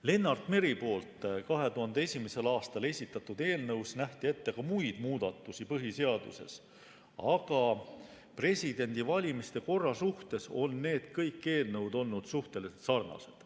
Lennart Meri 2001. aastal esitatud eelnõus nähti ette ka muid muudatusi põhiseaduses, aga presidendivalimiste korra suhtes on kõik need eelnõud olnud suhteliselt sarnased.